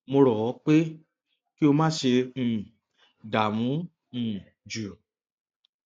mo rọ ọ pé kí o má ṣe um dààmú um jù